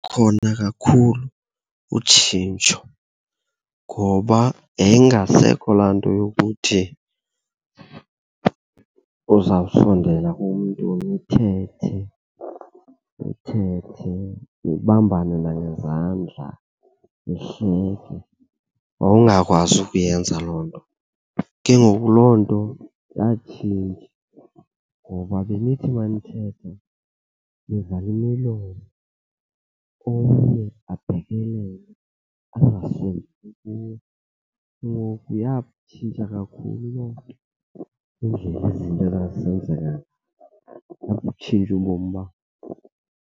Lukhona kakhulu utshintsho ngoba yayingasekho laa nto yokuthi uzawusondela kumntu nithethe, uthethe nibambane nangezandla, nihleke. Wawungakwazi ukuyenza loo nto. Ke ngoku loo nto yatshintsha ngoba benithi uma nithetha nivale imilomo omnye abhekelele angasondeli kuwe. Ngoku yatshintsha kakhulu loo nto indlela izinto ezazisenzeka ngayo, yabutshintsha ubomi bam.